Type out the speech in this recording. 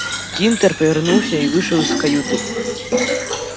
тинтер повернулся и вышел из каюты